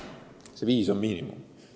Need viis on miinimum.